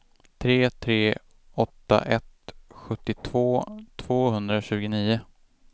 tre tre åtta ett sjuttiotvå tvåhundratjugonio